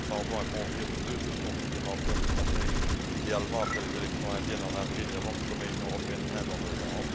Nous attendons de convenir de deux sessions supplémentaires cette année, idéalement après les élections indiennes en avril et avant le sommet Union européenne Inde en novembre.